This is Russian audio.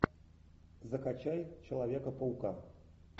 закачай человека паука